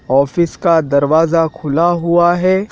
Office का दरवाजा खुला हुआ है।